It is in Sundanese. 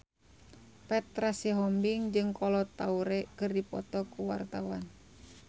Petra Sihombing jeung Kolo Taure keur dipoto ku wartawan